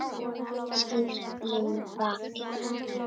Snýr í mig bakinu.